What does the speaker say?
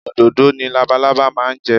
Òdòdó ni labalábá máa ń jẹ